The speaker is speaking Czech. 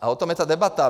A o tom je ta debata.